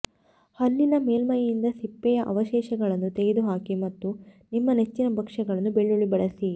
ಹಲ್ಲಿನ ಮೇಲ್ಮೈಯಿಂದ ಸಿಪ್ಪೆಯ ಅವಶೇಷಗಳನ್ನು ತೆಗೆದುಹಾಕಿ ಮತ್ತು ನಿಮ್ಮ ನೆಚ್ಚಿನ ಭಕ್ಷ್ಯಗಳಲ್ಲಿ ಬೆಳ್ಳುಳ್ಳಿ ಬಳಸಿ